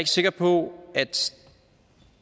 sikker på at